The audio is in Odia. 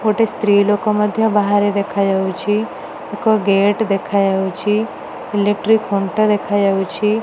ଗୋଟେ ସ୍ତ୍ରୀ ଲୋକ ମଧ୍ୟ ବାହାରେ ଦେଖା ଯାଉଛି ଏକ ଗେଟ୍ ଦେଖା ଯାଉଛି ଇଲେକ୍ଟ୍ରିକ ଖୁଣ୍ଟ ଦେଖାଯାଉଛି।